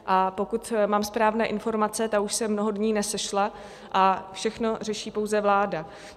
A pokud mám správné informace, ta už se mnoho dní nesešla a všechno řeší pouze vláda.